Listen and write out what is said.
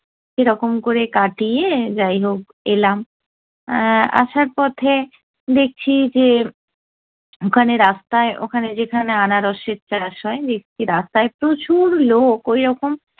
সেরকম করে কাটিয়ে যাই হোক এলাম। আহ আসার পথে দেখছি যে, ওখানে রাস্তায় ওখানে যেখানে আনারসের চাষ হয় দেখছি রাস্তায় প্রচুর লোক ওইরকম